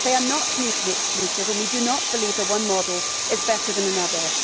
They are not mutually exclusive, and we do not believe that one model is better than another.